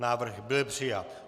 Návrh byl přijat.